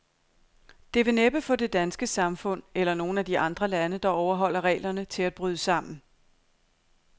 Det vil næppe få det danske samfund, eller nogen af de andre lande, der overholder reglerne, til at bryde sammen.